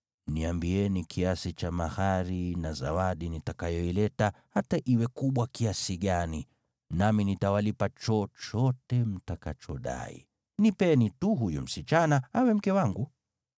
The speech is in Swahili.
Niambieni kiasi cha mahari na zawadi nitakayoileta, hata iwe kubwa kiasi gani, nami nitawalipa chochote mtakachodai. Nipeni tu huyu msichana awe mke wangu.”